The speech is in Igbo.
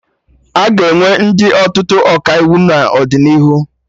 Aga enwe ndị ọtụtụ Ọkaiwu n'ọdịnihu